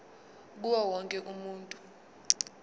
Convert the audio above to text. kuwo wonke umuntu